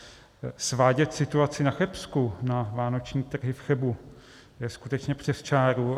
Svádět situaci na Chebsku na vánoční trhy v Chebu je skutečně přes čáru.